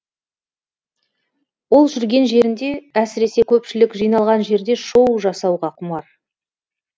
ол жүрген жерінде әсіресе көпшілік жиналған жерде шоу жасауға құмар